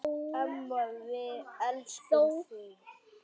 Amma, við elskum þig.